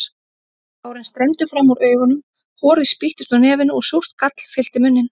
Tárin streymdu fram úr augunum, horið spýttist úr nefinu og súrt gall fyllti munninn.